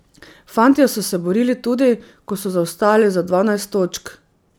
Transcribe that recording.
Fantje so se borili tudi, ko so zaostajali za dvanajst točk.